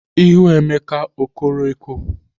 Ihu Emeka o koro eko?